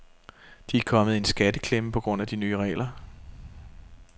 De er kommet i en skatteklemme på grund af de nye regler.